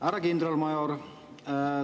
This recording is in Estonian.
Härra kindralmajor!